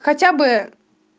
хотя бы